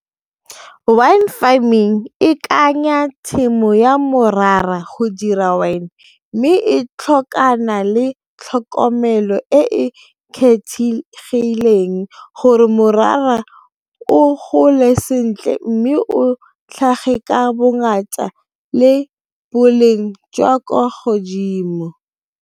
Wine farming e tshimo ya morara go dira wine mme e tlhokana le tlhokomelo e e kgethegileng gore morara o gole sentle mme o tlhage ka bongata le boleng jwa kwa godimo.